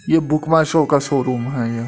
ये बुकवा शो का शोरूम है यह।